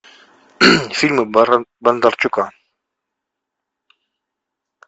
фильмы бондарчука